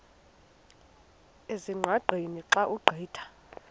ezingqaqeni xa ugqitha